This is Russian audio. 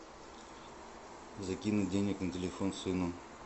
закинуть денег на телефон сыну